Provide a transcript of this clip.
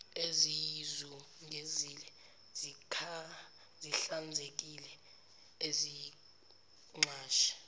eziyizungezile zihlanzekile iziqashi